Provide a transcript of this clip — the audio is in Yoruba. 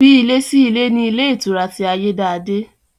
Bí ilé sí ilé ni ilé ìtura ti Ayédáadé